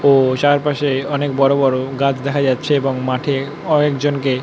ও চারপাশে অনকে বড়ো বড়ো গাছ দেখা যাচ্ছে এবং মাঠে অনেক জনকে --